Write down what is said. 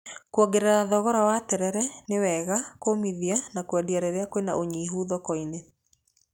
Kuongerera thogora wa terere nĩ wega kũũmithia na kwendia rĩrĩa kwĩna ũnyihu thoko-inĩ.